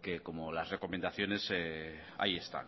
que como las recomendaciones ahí están